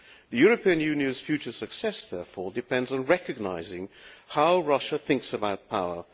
The European Union's future success therefore depends on recognising how Russia thinks about power.